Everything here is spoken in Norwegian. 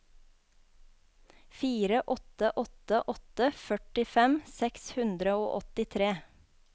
fire åtte åtte åtte førtifem seks hundre og åttitre